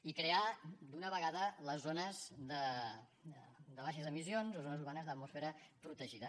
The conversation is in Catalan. i crear d’una vegada les zones de baixes emissions o zones urbanes d’atmosfera protegida